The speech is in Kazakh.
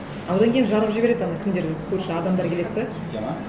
жарып жібереді ана кімдер көрші адамдар келеді де сөйтеді ме